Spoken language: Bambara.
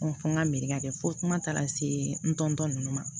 fɔ n ka miiri ka kɛ fo kuma taara se n tɔntɔn nunnu ma